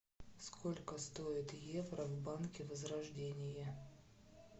сколько стоит евро в банке возрождение